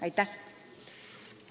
Aitäh!